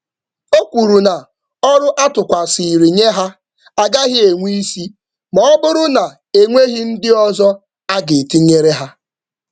Okwuru na, ọrụ atụkwasịrị nye ha, agaghị enwe ísì, mọbụrụ na enweghị ndị ọzọ aga etinyere ha